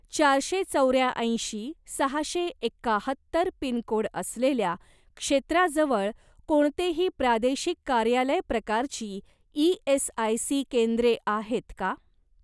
चारशे चौऱ्याऐंशी सहाशे एकाहत्तर पिनकोड असलेल्या क्षेत्राजवळ कोणतेही प्रादेशिक कार्यालय प्रकारची ई.एस.आय.सी. केंद्रे आहेत का?